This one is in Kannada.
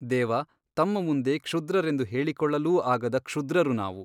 ದೇವ ತಮ್ಮ ಮುಂದೆ ಕ್ಷುದ್ರರೆಂದು ಹೇಳಿಕೊಳ್ಳಲೂ ಆಗದ ಕ್ಷುದ್ರರು ನಾವು.